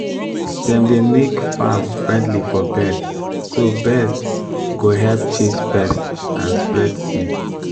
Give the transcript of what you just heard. dem dey make farm friendly for birds so bird go help chase pest and spread seed.